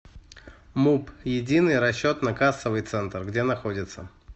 муп единый расчетно кассовый центр где находится